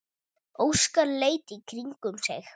Óskar leit í kringum sig.